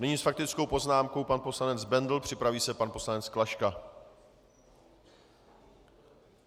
Nyní s faktickou poznámkou pan poslanec Bendl, připraví se pan poslanec Klaška.